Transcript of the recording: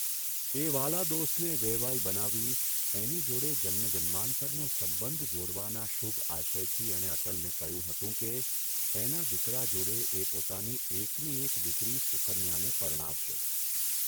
એ વ્હાલા દોસ્તને વેવાઇ બનાવી એની જોડે જન્મ જન્માંતરનો સંબંધ જોડવાના શુભ આશયથી એણે અટલને કહ્યું હતું કે, એના દીકરા જોડે એ પોતાની એકની એક દીકરી સુકન્યાને પરણાવશે.